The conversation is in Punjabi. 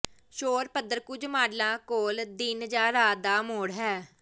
ਸ਼ੋਰ ਪੱਧਰ ਕੁਝ ਮਾਡਲਾਂ ਕੋਲ ਦਿਨ ਜਾਂ ਰਾਤ ਦਾ ਮੋਡ ਹੈ